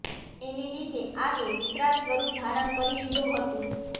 એને લીધે આગે વિકરાળ સ્વરૂપ ધારણ કરી લીધું હતું